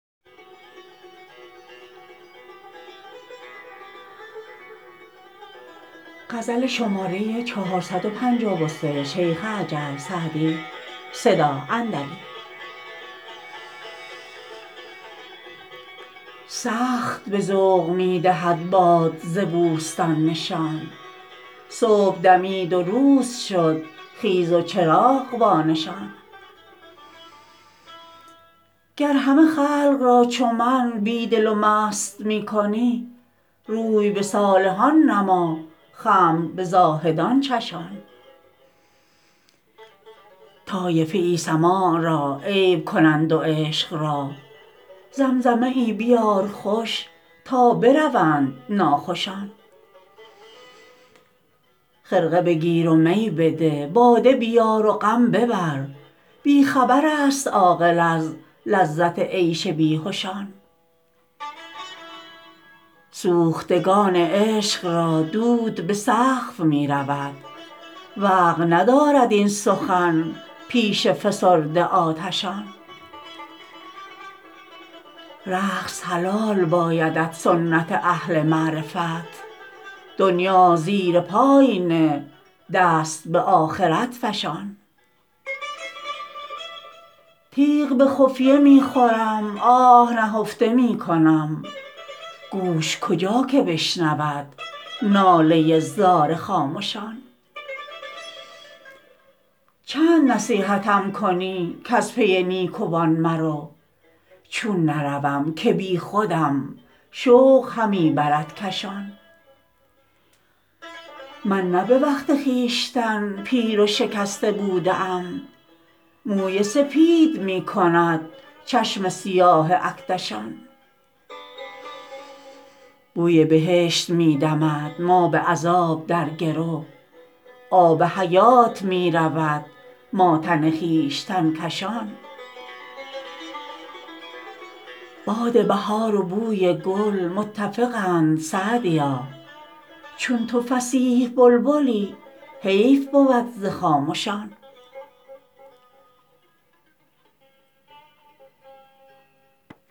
سخت به ذوق می دهد باد ز بوستان نشان صبح دمید و روز شد خیز و چراغ وانشان گر همه خلق را چو من بی دل و مست می کنی روی به صالحان نما خمر به زاهدان چشان طایفه ای سماع را عیب کنند و عشق را زمزمه ای بیار خوش تا بروند ناخوشان خرقه بگیر و می بده باده بیار و غم ببر بی خبر است عاقل از لذت عیش بیهشان سوختگان عشق را دود به سقف می رود وقع ندارد این سخن پیش فسرده آتشان رقص حلال بایدت سنت اهل معرفت دنیا زیر پای نه دست به آخرت فشان تیغ به خفیه می خورم آه نهفته می کنم گوش کجا که بشنود ناله زار خامشان چند نصیحتم کنی کز پی نیکوان مرو چون نروم که بیخودم شوق همی برد کشان من نه به وقت خویشتن پیر و شکسته بوده ام موی سپید می کند چشم سیاه اکدشان بوی بهشت می دمد ما به عذاب در گرو آب حیات می رود ما تن خویشتن کشان باد بهار و بوی گل متفقند سعدیا چون تو فصیح بلبلی حیف بود ز خامشان